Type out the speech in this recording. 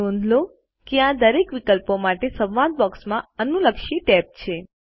નોંધ લો કે આ દરેક વિકલ્પો માટે સંવાદ બૉક્સમાં અનુલક્ષી ટેબ છે